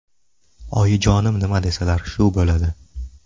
Oyijonim nima desalar, shu bo‘ladi.